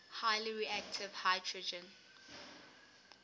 highly reactive hydrogen